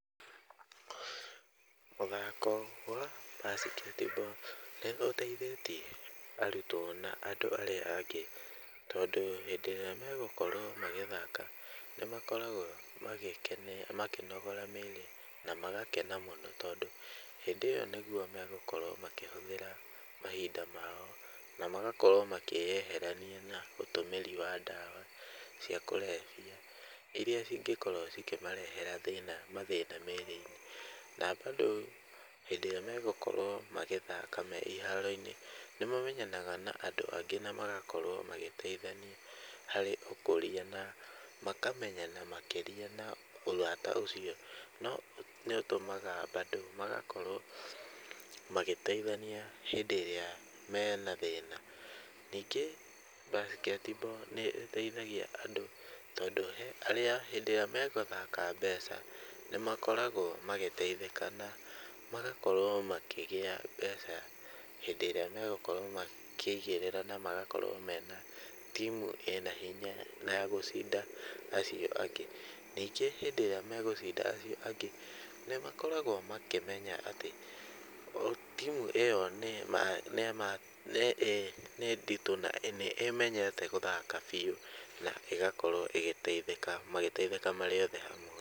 Mũthako wa basket ball nĩ ũteithitie arutwo na andũ arĩa angĩ, tondũ hĩndĩ ĩrĩa magũkorwo magĩthaka, nĩmakoragwo magĩkena makĩnogora mĩĩrĩ na magakena mũno, tondũ hĩndĩ ĩyo nĩguo megũkorwo makĩhũthĩra mahinda mao, na magakorwo makĩyeherania na ũtũmĩri wa ndawa cia kũrebia, irĩa cingĩkorwo cikĩmarehera thĩna mathĩna mĩĩrĩ-inĩ, na bado hĩndĩ ĩrĩa megũkorwo magĩthaka me iharo-inĩ, nĩ ma menyanaga na andũ angĩ na magakorwo magĩteithania harĩ ũkũrĩa, na makamenyana makĩrĩa na ũrata ũcio nĩ ũtũmaga bado magakorwo magateithania hĩndĩ ĩrĩa mena thĩna, ningĩ basket ball nĩ ĩteithagia andũ, tondũ hĩndĩ ĩrĩa megũthaka mbeca, nĩ makoragwo magĩteithĩka na magakorwo makĩgĩa mbeca hĩndĩ ĩrĩa megũkorwo makĩigĩrĩra, na magakorwo mena timu ĩna hinya na yagũcinda acio angĩ, ningĩ hĩndĩ ĩrĩa megũcinda acio angĩ nĩmakoragwo makĩmenya atĩ, o timu ĩyo nĩ ma nĩ nditũ , na nĩ ĩmenyete gũthaka biũ, na ĩgakorwo ĩgĩteithĩka, magĩteithĩka marĩ othe hamwe.